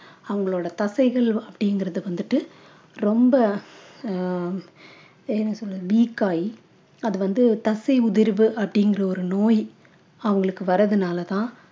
அவங்களோட தசைகள் அப்படிங்கறது வந்துட்டு ரொம்ப அஹ் என்ன சொல்றது weak ஆகி அது வந்து தசை உதிர்வு அப்படிங்கற ஒரு நோய் அவங்களுக்கு வர்றதுனால தான்